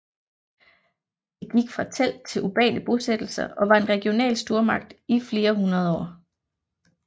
Det gik fra telt til urbane bosættelser og var en regional stormagt i flere hundrede år